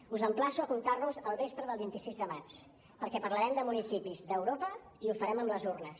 us emplaço a comptar nos el vespre del vint sis de maig perquè parlarem de municipis d’europa i ho farem amb les urnes